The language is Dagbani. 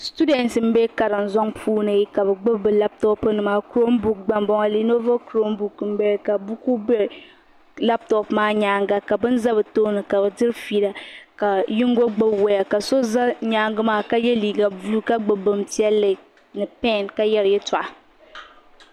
shekuru bihi bɛ karim zuŋ puuni ka gbebi be latop nima niriba. group n bala latop maa nyaa ga ka bin za bi tooni ka bi ƒila ka yingo gbebi waya ka so za nyɛga maa ka yɛ liga bolu ka gbɛ ka gbɛ bin piɛlli ni pɛn ka yera ya toɣ'